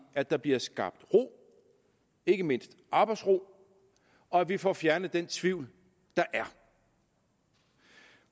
at der bliver skabt ro ikke mindst arbejdsro og at vi får fjernet den tvivl der er